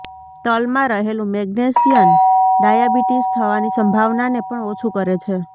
તલમાં રહેલું magnesium diabetes થવાની સંભાવનાને પણ ઓછું કરે છે